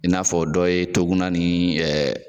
I n'a fɔ dɔ ye Tuguna ni